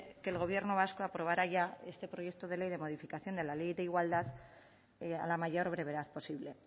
que el gobierno vasco aprobará ya este proyecto de ley de modificación de la ley de igualdad a la mayor brevedad posible